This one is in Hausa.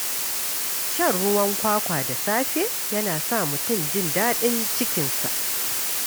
Shan ruwan kwakwa da safe yana sa mutum jin daɗin cikinsa.